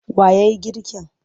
Wa ya yi girkin?